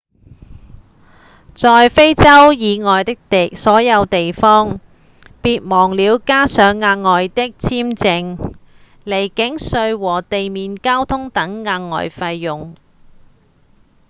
在非洲以外的所有地方別忘了加上額外的簽證、離境稅和地面交通等額外費用